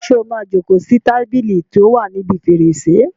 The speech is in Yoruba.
Ṣé o máa jókòó sí tábìlì tí ó wà níbi fèrèsé?